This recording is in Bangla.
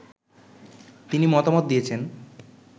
তিনি মতামত দিয়েছেন